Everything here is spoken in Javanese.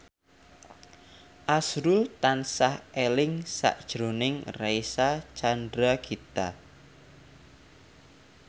azrul tansah eling sakjroning Reysa Chandragitta